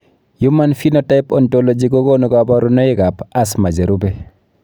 Human Phenotype Ontology kokonu kabarunoikab Asthma cherube.